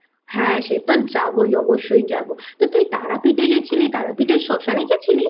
হ্যাঁ সে তো যাবোই অবশ্যই যাবো তো তুই তারাপীঠে গেছিলি তারাপীঠের শ্মশান গেছিলি?